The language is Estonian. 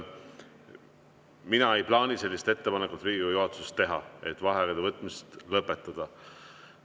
Mina ei plaani teha Riigikogu juhatuses ettepanekut vaheaegade võtmine lõpetada.